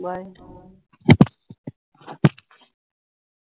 bye